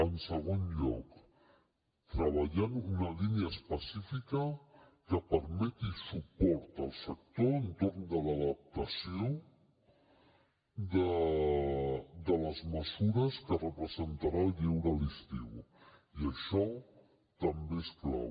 en segon lloc treballant una línia específica que permeti suport al sector entorn de l’adaptació de les mesures que representarà el lleure a l’estiu i això també és clau